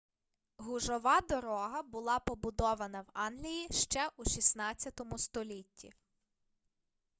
гужова дорога була побудована в англії ще у 16 столітті